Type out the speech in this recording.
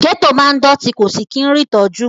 Gẹ́tò máa ń dọ̀tí kò sì kí rí ìtọ́jú.